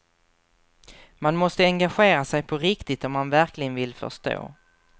Man måste engagera sig på riktigt om man verkligen vill förstå.